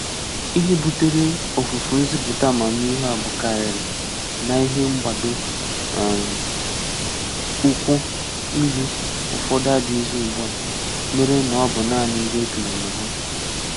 Ihe butere ọfùfù nzìpụ̀tà àmàmíhè a bụ̀kàrírị na ihe mgbadò um ụ́kwụ́ ìlù ùfọ̀dù adị̀ghịzị̀ ugbua, mèré na ọ bụ̀ nāánị̀ ndị okenye mà hà.